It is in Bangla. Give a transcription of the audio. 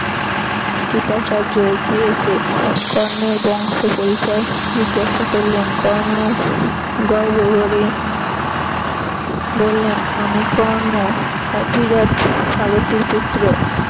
কৃপাচার্য এগিয়ে এসে কর্ণের বংশ পরিচয় জিজ্ঞাসা করলেন কর্ণ গর্ব ভরে বললেন আমি কর্ণ অধিরথ সারথির পুত্র।